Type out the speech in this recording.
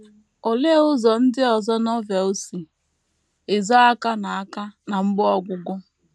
Olee ụzọ ndị ọzọ Novel si ezo aka na aka na mgbe ọgwụgwụ?